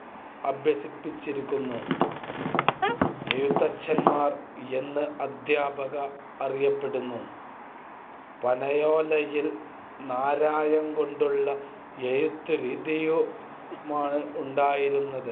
അഭ്യസിപ്പിച്ചിരിക്കുന്നു. എഴുത്തച്ഛൻമാർ എന്ന് അധ്യാപകർ അറിയപ്പെട്ടിരുന്നു. പനയോലയിൽ നാരായംകൊണ്ടുള്ള എഴുത്തുരീതിയാണുണ്ടായിരുന്നത്.